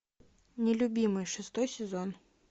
нелюбимый шестой сезон